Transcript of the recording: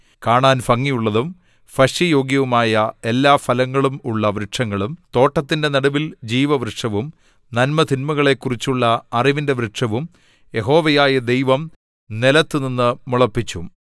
കാണാൻ ഭംഗിയുള്ളതും ഭക്ഷ്യയോഗ്യവുമായ എല്ലാ ഫലങ്ങളും ഉള്ള വൃക്ഷങ്ങളും തോട്ടത്തിന്റെ നടുവിൽ ജീവവൃക്ഷവും നന്മതിന്മകളെക്കുറിച്ചുള്ള അറിവിന്റെ വൃക്ഷവും യഹോവയായ ദൈവം നിലത്തുനിന്നു മുളപ്പിച്ചു